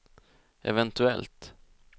eventuellt